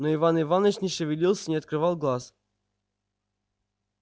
но иван иваныч не шевелился и не открывал глаз